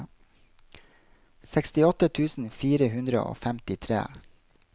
sekstiåtte tusen fire hundre og femtitre